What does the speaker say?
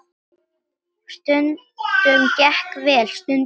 Stundum gekk vel, stundum illa.